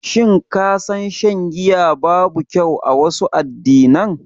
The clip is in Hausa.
Shin ka san shan giya babu kyau a wasu addinan?